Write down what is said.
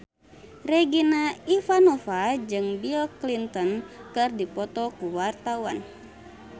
Regina Ivanova jeung Bill Clinton keur dipoto ku wartawan